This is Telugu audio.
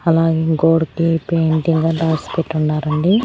అలాగే గోడకి పెయింటింగ్ అన్ రాసి పెట్టున్నారండి.